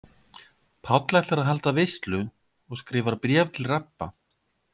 Páll ætlar að halda veislu og skrifar bréf til Rabba.